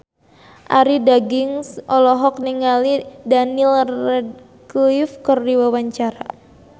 Arie Daginks olohok ningali Daniel Radcliffe keur diwawancara